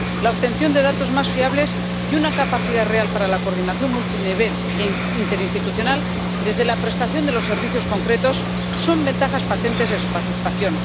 La obtención de datos más fiables y una capacidad real para la coordinación multinivel interinstitucional, desde la prestación de los servicios concretos, son ventajas patentes de su participación.